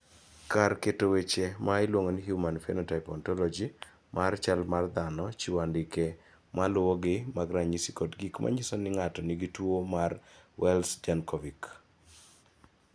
Kar keto weche ma iluongo ni Human Phenotype Ontology mar chal mar dhano chiwo andike ma luwogi mag ranyisi kod gik ma nyiso ni ng�ato nigi tuo mar Wells Jankovic.